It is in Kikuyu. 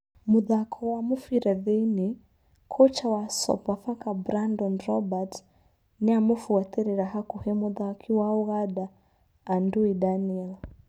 (Mũthako ma mũbira Thiĩnĩ) Kocha wa Sofapaka Brandon Robert nĩ aramubuatĩrĩra hakuhĩ mũthaki wa Ũganda Andui Daniel.